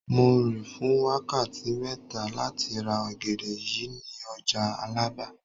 Mo rìn fún wákàtí mẹ́ta láti ra ọ̀gẹ̀dẹ̀ yìí ní ọjà Àlàbá